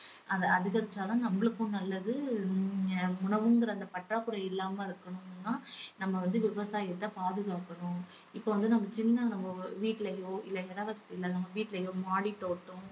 அது அதிகரிச்சாதான் நம்மளுக்கும் நல்லது அஹ் உணவுங்குற அந்த பற்றாக்குறை இல்லாம இருக்கணும்னா நம்ம வந்து விவசாயத்தை பாதுகாக்கணும். இப்ப வந்து நம்ம சின்ன நம்ம வீட்லையோ இல்ல இட வசதி இல்ல நம்ம வீட்லையோ மாடித் தோட்டம்